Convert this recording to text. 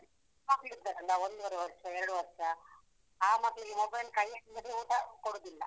ಅಹ್ ಚಿಕ್ಕ್ ಮಕ್ಳು ಇರ್ತಾರಲ್ಲ ಒಂದೂವರೆ ವರ್ಷ, ಎರಡು ವರ್ಷ. ಆ ಮಕ್ಳಿಗೆ mobile ಕೈಯ್ಯಲ್ಲಿದ್ರೆ ಊಟ ಕೊಡುದಿಲ್ಲ.